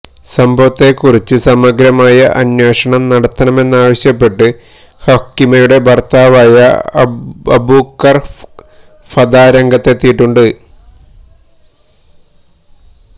സംഭവത്തെക്കുറിച്ച് സമഗ്രമായ അന്വേഷണം നടത്തണമെന്നാവശ്യപ്പെട്ട് ഹക്കിമയുടെ ഭര്ത്താവായ അബുകര് ഫദാ രംഗത്തെത്തിയിട്ടുണ്ട്